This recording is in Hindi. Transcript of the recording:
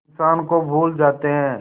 इंसान को भूल जाते हैं